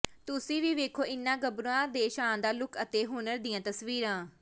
ਤੁਸੀਂ ਵੀ ਵੇਖੋ ਇਨ੍ਹਾਂ ਗੱਭਰੂਆਂ ਦੇ ਸ਼ਾਨਦਾਰ ਲੁਕ ਅਤੇ ਹੁਨਰ ਦੀਆਂ ਤਸਵੀਰਾਂ